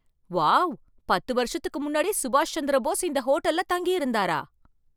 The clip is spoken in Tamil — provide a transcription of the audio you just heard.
வாவ்! பத்து வருஷத்துக்கு முன்னாடி சுபாஷ் சந்திர போஸ் இந்த ஹோட்டல்ல தங்கியிருந்தாரா?